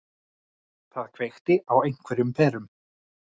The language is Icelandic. Það kveikti á einhverjum perum.